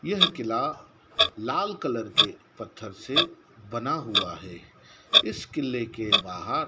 यह किला लाल कलर के पत्थर से बना हुआ है इस किले के बाहर--